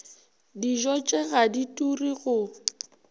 dijotše ga di ture go